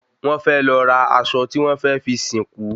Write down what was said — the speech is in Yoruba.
Wón fẹ́ lọ ra aṣọ tí wọ́n fẹ́ fi sìnkú